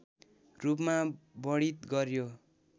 रूपमा वर्णित गर्‍यो